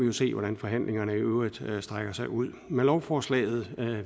vi se hvordan forhandlingerne i øvrigt strækker sig ud med lovforslaget